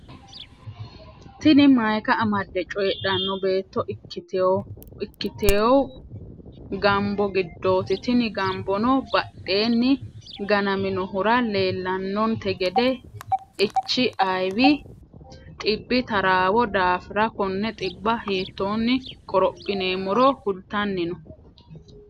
Tini mayiika amadde coyidhanno beetto ikkitewu gambo giddoti. tini gambono badhenni ganaminnohura leellannonte gede Echi ayiwi xibbi taraawo daafiranna konne xibba hittonni qorophinemmoro kultanni no.